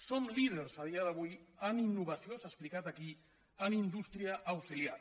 som líders a dia d’avui en innovació s’ha explicat aquí en indústria auxiliar